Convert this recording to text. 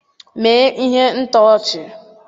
Mee ihe ntọchi!